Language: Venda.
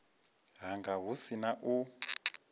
hanga hu si na u